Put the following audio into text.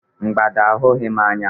Mgbada ahụghị m anya